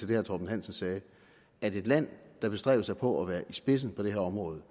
det herre torben hansen sagde at i et land der bestræber sig på at være i spidsen på det her område